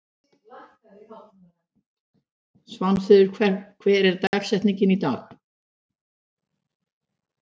Svanfríður, hver er dagsetningin í dag?